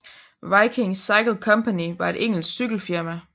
Viking Cycle Company var et engelsk cykel firma